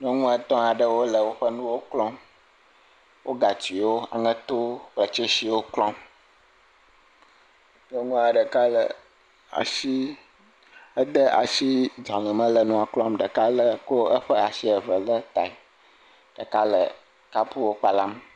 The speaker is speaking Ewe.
Nyɔnu etɔ̃ aɖewo le woƒe nuwo klɔm. wo gatsiwo, aŋeto kple tsesiwo klɔm. Nyɔnua ɖeka le asi ede asi dzale me le nua klɔm ɖeka le ko eƒe asi eve le tae. Ɖeka le kapuwo kpalam.